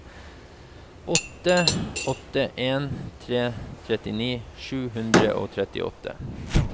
åtte åtte en tre trettini sju hundre og trettiåtte